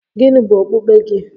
Gịnị bụ okpukpe gị?